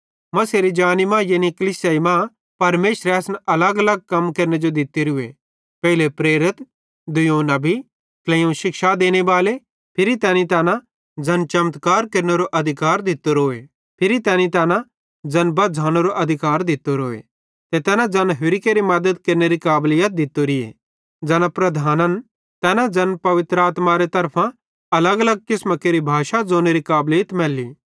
मसीहेरी जानी मां यानी कलीसियाई मां परमेशरे असन अलगअलग कम केरने जो दित्तोरूए पेइले प्रेरित दुइयोवं नबी ट्लेइयोवं शिक्षा देनेबाले फिरी तैना ज़ैन चमत्कार केरनेरो अधिकार दित्तोरोए फिरी तैनी तैना ज़ैन बझ़ानेरो अधिकार दित्तोरोए ते तैना ज़ैन होरि केरि मद्दत केरनेरी काबलीत दित्तोरोए ज़ैना प्रधान्न तैना ज़ैन पवित्र आत्मारे तरफां अलगअलग किसमां केरि भाषां ज़ोनेरी काबलीत मैली